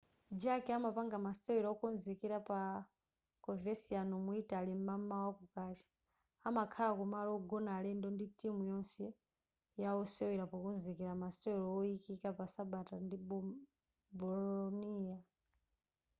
jarque amapanga masewera okonzekera pa coverciano mu italy m'mamawa kukacha amakhala mu malo wogona alendo ndi timu yonse yawosewera pokonzekera masewero oyikika pa sabata ndi bolonia